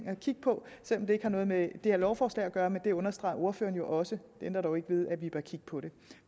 at kigge på selv om det ikke har noget med det her lovforslag at gøre men det understregede ordføreren jo også det ændrer dog ikke ved at vi bør kigge på det